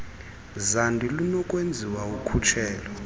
zandi lunokwenziwa ukhutshelo